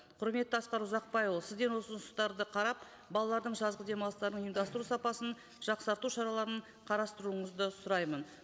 құрметті асқар ұзақбайұлы сізден осы ұсыныстарды қарап балалардың жазғы демалыстарын ұйымдастыру сапасын жақсарту шараларын қарастыруыңызды сұраймын